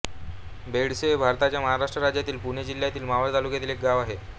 बेडसे हे भारताच्या महाराष्ट्र राज्यातील पुणे जिल्ह्यातील मावळ तालुक्यातील एक गाव आहे